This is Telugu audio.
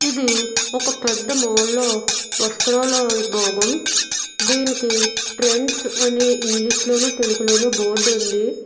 ఇది ఒక పెద్ద మోల్లో వస్రాల విభాగం దీనికి ట్రెండ్స్ అని ఇంగ్లీషులోను తెలుగులోను బోర్డు ఉంది.